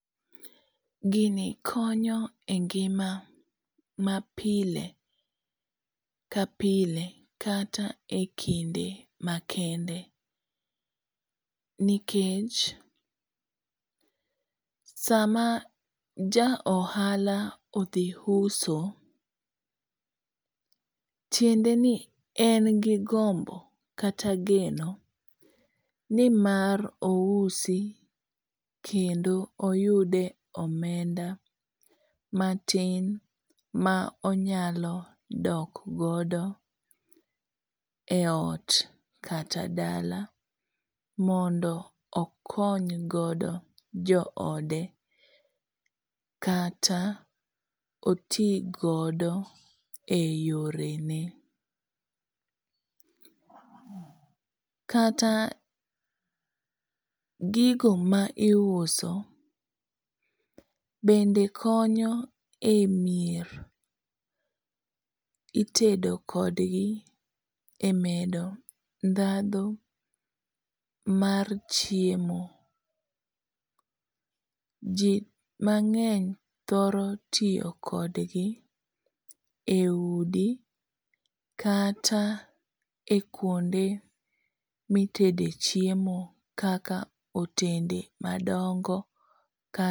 Gini konyo e ngima mapile, kapile kata e kinde makende nikech sama ja ohala odhi uso tiende ni en gi gombo kata geno nimar ousi kendo oyude omenda kata matin monyalo dok godo e ot kata dala mondo okony godo joode kata oti godo eyorene. Kata gigo ma iuso bende konyo e mier. Itedo kodgi emedo ndhadhu mar chiemo. Ji mang'eny thoro tiyo kodgi eudi kata e kuonde ma itede chiemo kaka otende madongo kaka